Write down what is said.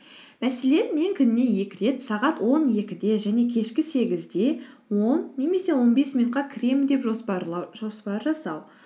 мәселен мен күніне екі рет сағат он екіде және кешкі сегізде он немесе он бес минутқа кіремін деп жоспар жасау